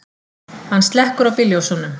Hann slekkur á bílljósunum.